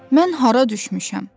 Mən hara düşmüşəm?